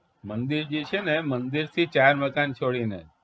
મંદિર જી છે ને મંદિરથી ચાર મકાન છોડીને